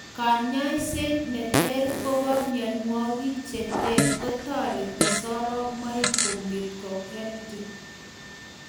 Kanyaiset nneter kopa mionwokik cheteer kotareti soromoik konget kohealthy